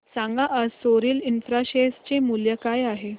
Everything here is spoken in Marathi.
सांगा आज सोरिल इंफ्रा शेअर चे मूल्य काय आहे